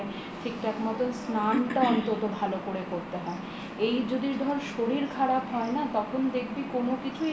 খায় ঠিকঠাক মতন স্নান টা অন্তত ভালো করে করতে হয় এই যদি ধর শরীর খারাপ হয় না তখন দেখবি কোনো কিছুই